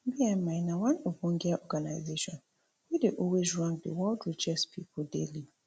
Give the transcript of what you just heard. bmi na one ogbonge organization wey dey always rank di world richest pipo daily